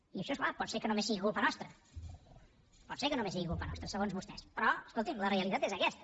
i això és clar pot ser que només sigui culpa nostra pot ser que només sigui culpa nostra segons vostès però escolti’m la realitat és aquesta